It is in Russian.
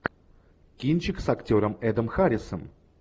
кинчик с актером эдом харрисом